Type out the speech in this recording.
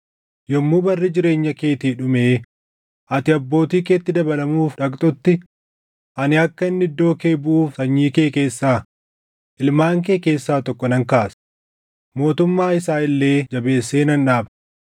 Yommuu barri jireenya keetii dhumee ati abbootii keetti dabalamuuf dhaqxutti ani akka inni iddoo kee buʼuuf sanyii kee keessaa, ilmaan kee keessaa tokko nan kaasa; mootummaa isaa illee jabeessee nan dhaaba.